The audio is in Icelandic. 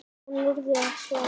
Hvernig á norður að svara?